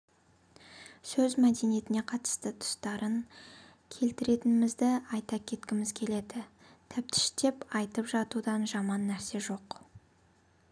сөз мәдениетіне қатысты тұстарын келтіретінімізді айта кеткіміз келеді тәптіштеп айтып жатудан жаман нәрсе жоқ